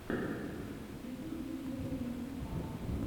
в ютубе кира пинк ста